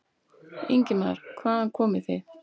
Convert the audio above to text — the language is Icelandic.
Ingimar: Hvaðan komið þið?